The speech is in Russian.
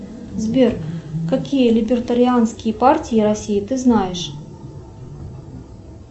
сбер какие либертарианские партии россии ты знаешь